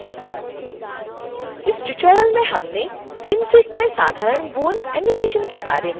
इस ट्यूटोरियल में हमने synfig में साधारण bone एनीमेशन के बारे में सीखा